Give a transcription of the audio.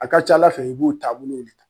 A ka ca ala fɛ i b'u taa bolo